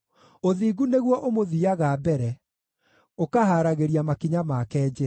Ũthingu nĩguo ũmũthiiaga mbere, ũkahaaragĩria makinya make njĩra.